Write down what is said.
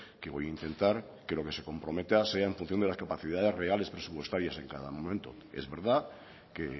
que voy a intentar que lo que se comprometa sea en función de las capacidades reales presupuestarias en cada momento es verdad que